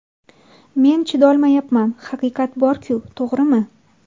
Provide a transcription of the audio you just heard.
Men chidolmayapman, haqiqat bor-ku, to‘g‘rimi?